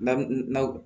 Lamu na